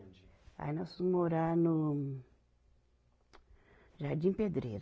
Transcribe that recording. Aí nós fomos morar no Jardim Pedreira.